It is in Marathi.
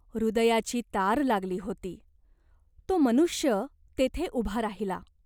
हृदयाची तार लागली होती. तो मनुष्य तेथे उभा राहिला.